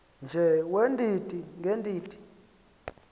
nje weendidi ngeendidi